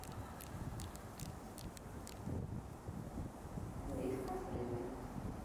вискас рыбный